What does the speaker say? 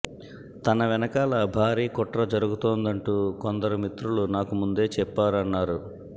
తన వెనకాల భారీ కుట్ర జరుగుతోందంటూ కొందరు మిత్రులు నాకు ముందే చెప్పారన్నారు